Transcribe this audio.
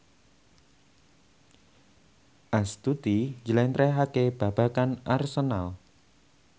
Astuti njlentrehake babagan Arsenal